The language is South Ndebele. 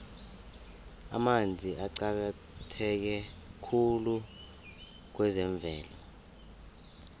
amanzi aqakatheke khulu kwezemvelo